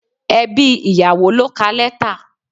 Ẹbí ìyàwó ló ka letter.